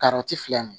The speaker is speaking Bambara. Karɔti filɛ nin ye